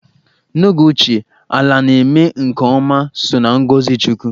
N'oge ochie, ala na-eme nke ọma so na ngọzị chukwu.